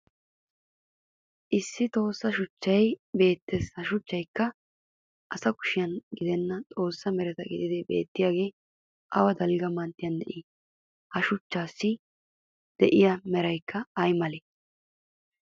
Issi tossa shuchchay beettes ha shuchchaykka asa kushen gidenna xoossi mereta gididi beettiyaagee awa dalgga manttiyan de'ii? Ha shuchchaassi de'iya meraykka ay malee?